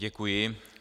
Děkuji.